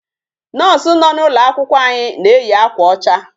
Nurse nọ n'ụlọ akwụkwọ anyị na-eyi akwa ọcha.